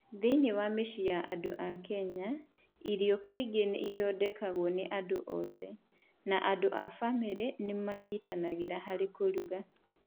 Thĩinĩ wa mĩciĩ ya andũ a Kenya, irio kaingĩ ithondekagwo nĩ andũ othe, na andũ a bamĩrĩ nĩ manyitanagĩra harĩ kũruga.